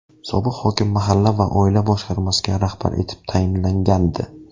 Sobiq hokim mahalla va oila boshqarmasiga rahbar etib tayinlangandi.